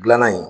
Dilanna in